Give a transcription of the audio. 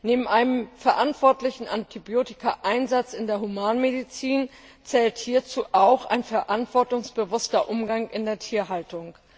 Neben einem verantwortlichen Antibiotikaeinsatz in der Humanmedizin zählt hierzu auch ein verantwortungsbewusster Umgang mit Antibiotika in der Tierhaltung.